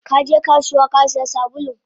Kaje kasuwa Kasiya sabulun?